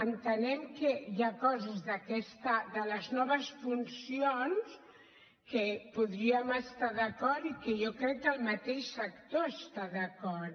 entenem que hi ha coses de les noves funcions amb què podríem estar d’acord i que jo crec que el mateix sector hi està d’acord